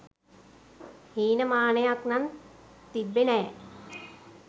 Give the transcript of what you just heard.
හීනමානයක් නන් තිබ්බෙ නෑ.